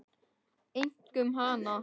Einkum hana.